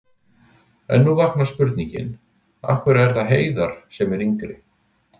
En nú vaknar spurningin: Af hverju er það Heiðar sem er yngri?